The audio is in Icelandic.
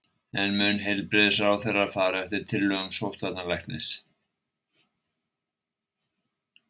En mun heilbrigðisráðherra fara eftir tillögum sóttvarnalæknis?